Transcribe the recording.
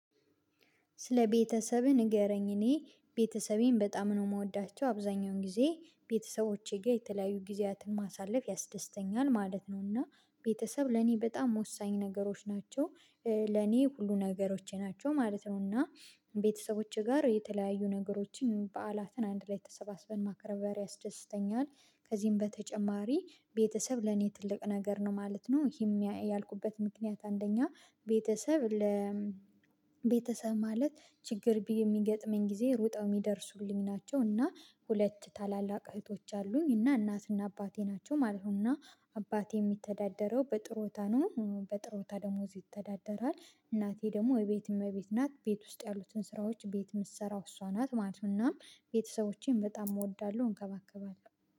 ስለ ቤተሰብህ ንገረኝ እኔ ቤተሰቤን በጣም ነው የምወዳቸው አብዛኛውን ጊዜ ቤተሰቦቼ ጋር የተለያዩ ጊዜያትን ማሳለፍ ያስደስተኛል ማለት ነው እና ቤተሰብ ለኔ በጣም ወሳኝ ነገሮች ናቸው ለኔ ሁሉ ነገሮቼ ናቸው ማለት ነው እና ቤተሰቦቼ ጋር የተለያዩ ነገሮችን በዓላትን አንድ ላይ ተሰባስበን ማክበር ያስደስተኛል ከዚህም በተጨማሪ ቤተሰብ ለኔ ትልቅ ነገር ነው ማለት ነው ይሄም ያልኩበት ምክንያት አንደኛ ቤተሰብ ለ ቤተሰብ ማለት ችግር የሚገጥመኝ ጊዜ ሩጠው የሚደርሱልኝ ናቸው እና ሁለት ታላላቅ እህቶች አሉኝ እና እናትና አባቴ ናቸው ማለት ነው እና አባቴ የሚተዳደረው በጥሮታ ነው በጥሮታ ደሞዝ ይተዳደራል እናቴ ደግሞ እቤት እመቤት ናት ቤት ውስጥ ያሉትን ስራዎች ቤት የምትሰራው እሷ ናት ማለት እናም ቤተሰቦቼን በጣም እወዳለሁ እንከባከባለሁ።